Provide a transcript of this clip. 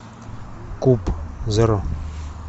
куб зеро